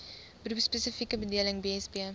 beroepspesifieke bedeling bsb